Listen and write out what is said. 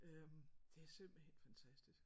Øh det er simpelthen fantastisk